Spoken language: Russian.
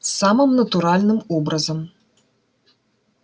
самым натуральным образом